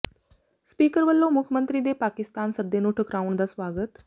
speaker ਵੱਲੋਂ ਮੁੱਖ ਮੰਤਰੀ ਦੇ ਪਾਕਿਸਤਾਨ ਸੱਦੇ ਨੂੰ ਠੁਕਰਾਉਣ ਦਾ ਸਵਾਗਤ